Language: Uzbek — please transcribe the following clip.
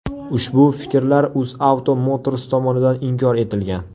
Ushbu fikrlar UzAuto Motors tomonidan inkor etilgan.